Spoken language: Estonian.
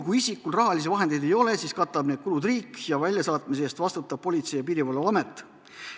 Kui tal raha ei ole, siis katab need kulud riik ja väljasaatmise eest vastutab Politsei- ja Piirivalveamet.